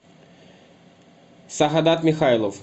сагадат михайлов